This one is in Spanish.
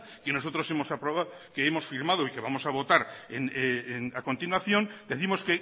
que nosotros hemos aprobado que hemos firmado y que vamos a votar a continuación décimos